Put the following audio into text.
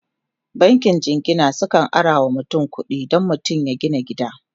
bankin jingina sukan arawa mutum kuɗi Dan mutum ya gina gida